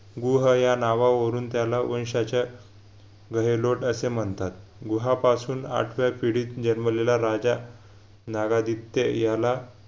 गुहं या नावावरून त्याला वंशाच्या गहेलोट अशे म्हणतात गुहापासून आठव्या पिढीत जन्मलेला राजा नरादित्य याला